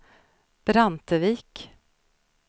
Brantevik